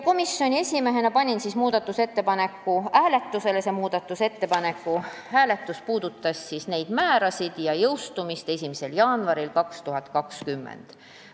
Komisjoni esimehena panin muudatusettepaneku hääletusele, see puudutas neid määrasid ja jõustumist 1. jaanuaril 2020.